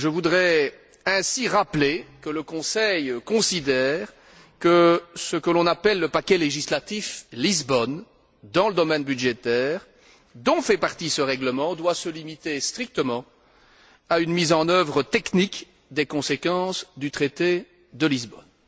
Je voudrais ainsi rappeler que le Conseil considère que ce que l'on appelle le paquet législatif Lisbonne, dans le domaine budgétaire, dont fait partie ce règlement, doit se limiter strictement à une mise en œuvre technique des conséquences du traité de Lisbonne.